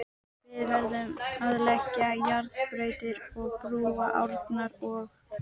Við verðum að leggja járnbrautir og brúa árnar og.